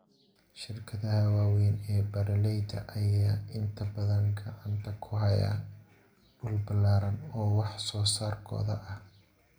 Shirkadaha waaweyn ee beeralayda ayaa inta badan gacanta ku haya dhul ballaaran oo wax soo saarkooda ah.